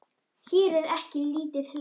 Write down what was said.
Hér er ekki lítið hlegið.